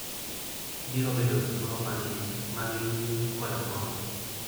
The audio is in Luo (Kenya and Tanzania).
Ibiro bedo gi thuolo mang'eny mag yueyo kod mor.